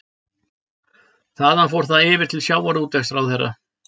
Þaðan fór það yfir til sjávarútvegsráðherra